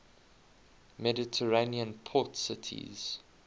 mediterranean port cities